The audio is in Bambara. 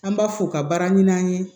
An b'a f'u ka baaraɲa an ye